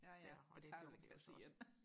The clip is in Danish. ja ja tager ved kasse et